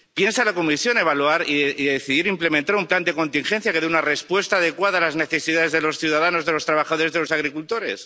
¿Piensa la Comisión evaluar y decidir implementar un plan de contingencia que dé una respuesta adecuada a las necesidades de los ciudadanos, de los trabajadores y de los agricultores?